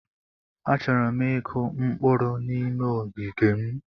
Achọrọ m ịkụ mkpụrụ n'ime ogige m.